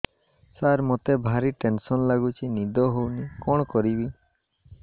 ସାର ମତେ ଭାରି ଟେନ୍ସନ୍ ଲାଗୁଚି ନିଦ ହଉନି କଣ କରିବି